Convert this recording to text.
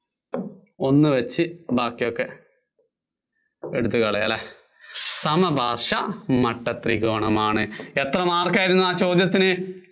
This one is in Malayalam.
ഒന്നൊഴിച്ച് ബാക്കിയൊക്കെ എടുത്ത് കളയാം അല്ലേ സമപാര്‍ശ്വ മട്ട ത്രികോണമാണ്. എത്ര mark ആയിരുന്നു ആ ചോദ്യത്തിന്?